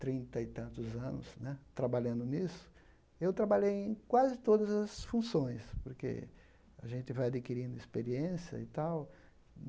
trinta e tantos anos né trabalhando nisso, eu trabalhei em quase todas as funções, porque a gente vai adquirindo experiência e tal.